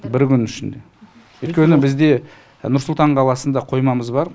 бір күннің ішінде өйткені бізде нұр сұлтан қаласында қоймамыз бар